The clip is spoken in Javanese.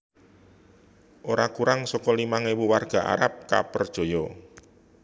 Ora kurang saka limang ewu warga Arab kapperjaya